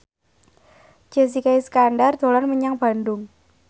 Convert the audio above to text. Jessica Iskandar dolan menyang Bandung